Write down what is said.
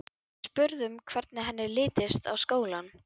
Við spurðum hvernig henni litist á skólann.